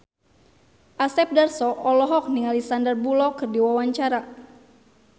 Asep Darso olohok ningali Sandar Bullock keur diwawancara